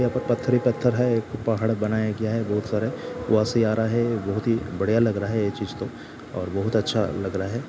यहाॅं पर पत्थर ही पत्थर है। एक पहाड़ बनाया गया है बोहोत सारे। आ रहा है बोहोत ही बढ़िया लग रहा है ये चीज़ तो और बोहोत अच्छा लग रहा है।